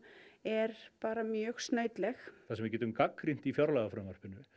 er bara mjög snautleg það sem við getum gagnrýnt í fjárlagafrumvarpinu